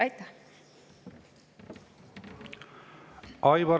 Aitäh!